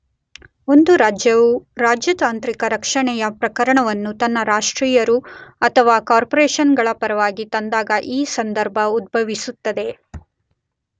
ಒಂದು ರಾಜ್ಯವು ರಾಜತಾಂತ್ರಿಕ ರಕ್ಷಣೆಯ ಪ್ರಕರಣವನ್ನು ತನ್ನ ರಾಷ್ಟ್ರೀಯರು ಅಥವಾ ಕಾರ್ಪೊರೇಶನ್ ಗಳ ಪರವಾಗಿ ತಂದಾಗ ಈ ಸಂದರ್ಭ ಉದ್ಭವಿಸುತ್ತದೆ.